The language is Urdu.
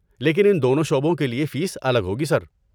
لیکن ان دونوں شعبوں کے لیے فیس الگ ہوگی، سر۔